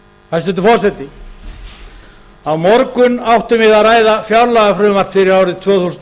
hæstvirtur forseti á morgun áttum við að ræða fjáraukalagafrumvarp fyrir árið tvö þúsund